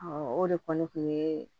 o de kɔni kun ye